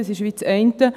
Das ist das eine.